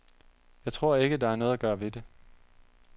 Jeg tror ikke, der er noget at gøre ved det.